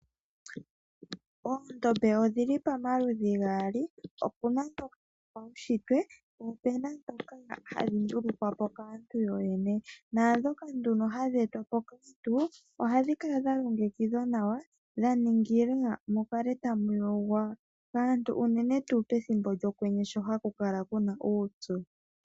Oondombe odhili pamaludhi gaali, opena dhopaushitwe, po opena ndhoka hadhi ndungikwa po kaantu yo yene. Ndhoka hadhi etwa po kaantu ohadhi kala dhalongekidhwa nawa, dha ningilwa mu kale tamu yogwa kaantu, uunene tuu pethimbo lyokwenye sho ha kukala kuna uupyu.